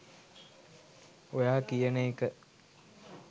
ඔයා කියන එක